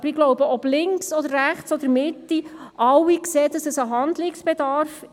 Aber ich glaube, ob links, rechts oder Mitte: Alle sehen einen Handlungsbedarf.